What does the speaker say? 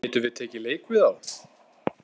Getum við tekið leik við þá?